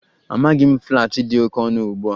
Amaghị m, flats dị oke ọnụ ugbu a